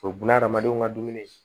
O ye bunahadamadenw ka dumuni ye